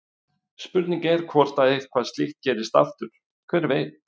Spurningin er hvort að eitthvað slíkt gerist aftur, hver veit?